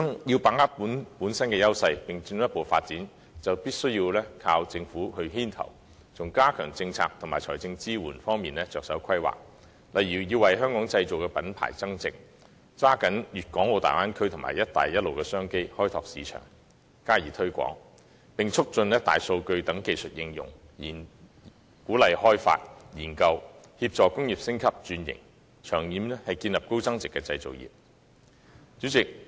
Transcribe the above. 要把握自身優勢並進一步發展，就必須依靠政府牽頭，從加強政策及財政支援方面着手規劃，例如為"香港製造"的品牌增值；抓緊粵港澳大灣區和"一帶一路"的商機，開拓市場並加以推廣；以及促進"大數據"等技術應用，鼓勵開發和研究，協助工業升級轉型，長遠建立高增值的製造業。